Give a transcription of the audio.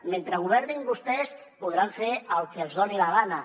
mentre governin vostès podran fer el que els doni la gana